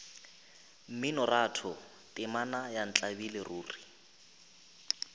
mminoratho temana ya ntlabile ruri